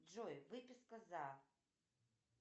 джой выписка за